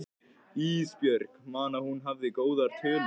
Ísbjörg man að hún hafði góðar tölur.